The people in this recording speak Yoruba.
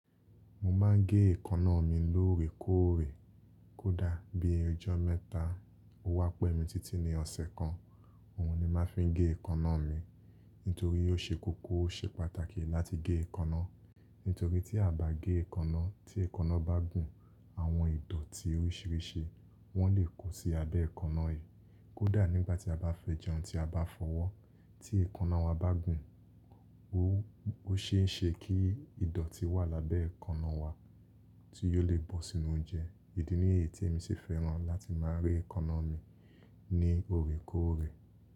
Mo máa ń gé èékánná mi lóòrèkóòrè. Kódà bí ọjọ́ mẹ́ta ó wá pẹ̀ mí títí ní ọ̀sẹ̀ kan, òun ni má fi ń gé èékánná mi. Nítorí ó ṣe kókó, ó ṣe pàtàkì láti gé èékánná. Nítorí tí a bá gé èékánná, tí èékánná bá gùn, àwọn ìdọ̀tí oríṣìíríṣìí wọn le kó sí abẹ́ èékánná i. Kódà nígbà tí a bá fẹ́ jẹun tí a bá fọwọ́, tí èékánná wa bá gùn, ó ṣeé ṣe kí ìdọ̀tí wà lábẹ́ èékánná wa tí yóò le bọ́ sínú oúnjẹ. Idí ni yí tí èmi ṣe fẹ́ràn láti máa re èékánná mi ní oòrèkóòrè.